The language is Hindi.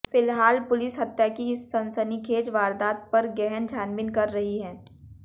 फिलहाल पुलिस हत्या की इस सनसनीखेज वारदात पर गहन छानबीन कर रही है